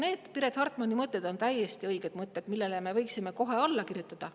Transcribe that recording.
Need Piret Hartmani mõtted on täiesti õiged mõtted, millele me võiksime kohe alla kirjutada.